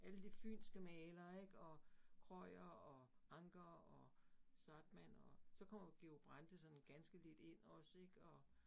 Alle de fynske malere ik og Krøyer og Anker og Zahrtmann og. Så kommer Georg Brandes sådan ganske lidt ind også ik og